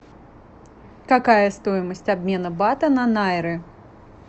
какая стоимость обмена бата на найры